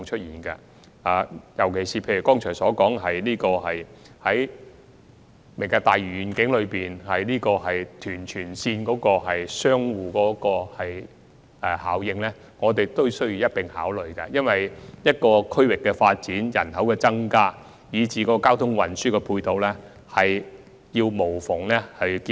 尤其是剛才所說的"明日大嶼願景"與屯荃鐵路的相互效應，也需要一併考慮，因為一個區域的發展、人口增加，以至交通運輸配套，有需要作出無縫的結合。